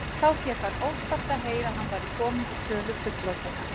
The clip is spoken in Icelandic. Þá fékk hann óspart að heyra að hann væri kominn í tölu fullorðinna.